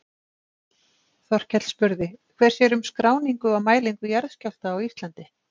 Þorkell spurði: Hver sér um skráningu og mælingu jarðskjálfta á Íslandi?